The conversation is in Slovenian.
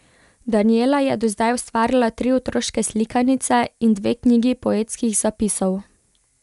Danijela je do zdaj ustvarila tri otroške slikanice in dve knjigi poetskih zapisov.